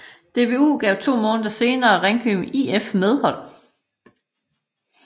JBU gav to måneder senere Ringkøbing IF medhold